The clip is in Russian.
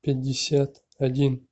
пятьдесят один